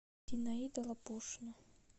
зинаида лапушина